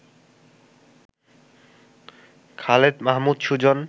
Khaled Mahmud Sujan